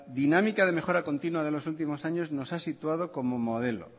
dinámica de mejora continua de los últimos años nos ha situado como modelo